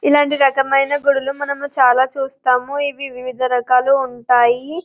ఇలాంటి రకమైన గుడిలు మనము చాలా చూస్తాము. ఇవి వివిధ రకాలుగా ఉంటాయి.